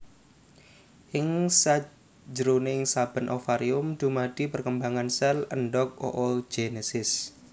Ing sanjeroné saben ovarium dumadi perkembangan sel endhog oogenesis